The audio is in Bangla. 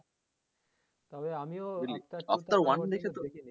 তবে আমিও